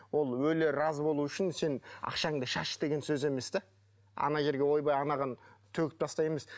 ол өлі разы болуы үшін сен ақшаңды шаш деген сөз емес те ана жерге ойбай анаған төгіп тастаймыз